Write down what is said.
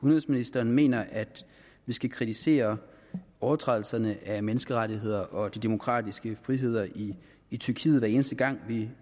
udenrigsministeren mener at vi skal kritisere overtrædelser af menneskerettighederne og de demokratiske frihedsrettigheder i tyrkiet hver eneste gang vi